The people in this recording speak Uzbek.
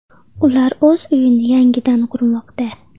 Ular o‘z uyini yangidan qurmoqda.